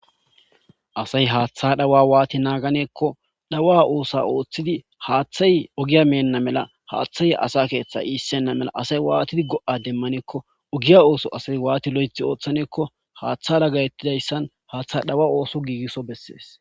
Asay haaththa dhawa waati naaganeekko dhawa oosa ooththidi haaththay ogiya meenna mela haaththay asa keeththa iissenna mela asay waatidi go7a demmaneekko ogiya ooso asay waati lo7ethi ooththaneekko haaththa laggayettidayssan haaththa dhawa ooso giigisso bessees.